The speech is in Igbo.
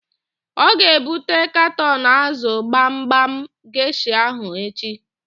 Ọ ga-ebute katọn ázụ̀ gbamgbam geshịa ahụ echi?